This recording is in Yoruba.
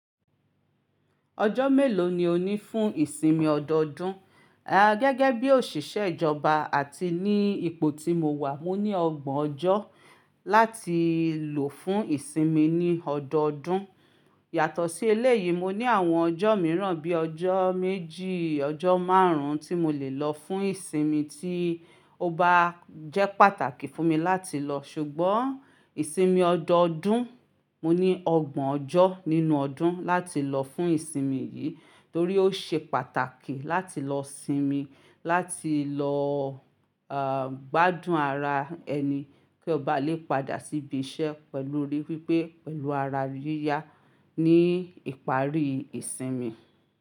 Ọjọ́ mélòó ni ó ní fún ìsinmi ọdọọdún? Gẹ́gẹ́ bí òṣìṣẹ́ ìjọba àti ní ipò tí mo wà, mo ní ọgbọ̀n ọjọ́ láti lò fún ìsinmi ní ọdọọdún. Yàtọ̀ sí eléyìí, mo ní àwọn ọjọ́ mìíràn bí ọjọ́ méjì, ọjọ́ márùn-ún tí mo lè lọ fún ìsinmi tí ó bá jẹ́ pàtàkì fún mi láti lọ. Ṣùgbọ́n ìsinmi ọdọọdún, mo ní ọgbọ̀n ọjọ́ nínú ọdún láti lọ fún ìsinmi yìí torí ó ṣe pàtàkì láti lọ sinmi. Gbádùn ara ẹni kí o baa lè padà sí ibi iṣẹ́ pẹ̀lú orí pípé, pẹ̀lú ara yíyá ní ìparí ìsinmi.